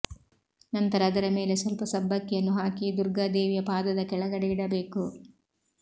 ನಂತರ ಅದರ ಮೇಲೆ ಸ್ವಲ್ಪ ಸಬ್ಬಕ್ಕಿಯನ್ನು ಹಾಕಿ ದುರ್ಗಾ ದೇವಿಯ ಪಾದದ ಕೆಳಗಡೆ ಇಡಬೇಕು